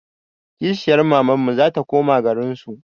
Kishiyar mamanmu zata koma garinsu